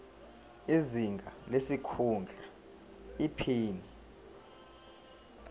izinga lesikhundla iphini